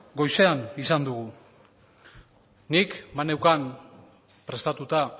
goizean izan dugu nik baneukan prestatuta